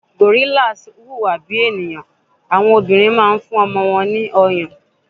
Gorillas huwa bi eniyan, awọn obinrin ma n fún ọmọ won ni oyon